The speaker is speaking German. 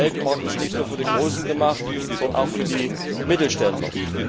Denn der Weltmarkt ist nicht nur für die Großen gemacht, sondern auch für die Mittelständler.